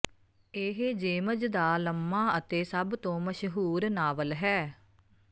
ਇਹ ਜੇਮਜ ਦਾ ਲੰਮਾ ਅਤੇ ਸਭ ਤੋਂ ਮਸ਼ਹੂਰ ਨਾਵਲ ਹੈ